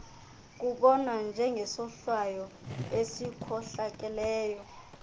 kubonwa njengesohlwayo esikhohlakeleyo